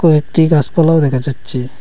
কয়েকটি গাসপালাও দেখা যাচ্ছে।